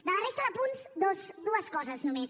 de la resta de punts dues coses només